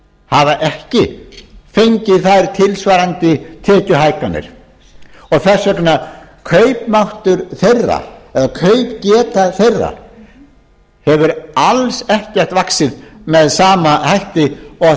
hafa ekki fengið þær tilsvarandi tekjuhækkanir og þess vegna hefur kaupmáttur þeirra eða kaupgeta þeirra alls ekkert vaxið með sama hætti og